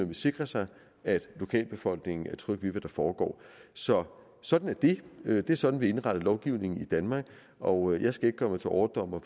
vil sikre sig at lokalbefolkningen er tryg ved hvad der foregår så sådan er det det er sådan vi har indrettet lovgivningen i danmark og jeg skal ikke gøre mig til overdommer